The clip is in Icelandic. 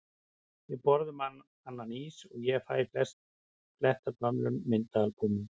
Við borðum annan ís og ég fæ að fletta gömlum myndaalbúmum.